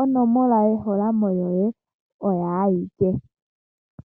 onomola yeholamo yoye oyo ayike.